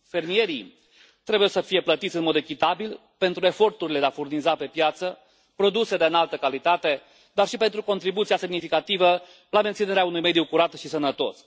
Fermierii trebuie să fie plătiți în mod echitabil pentru eforturile de a furniza pe piață produse de înaltă calitate, dar și pentru contribuția semnificativă la menținerea unui mediu curat și sănătos.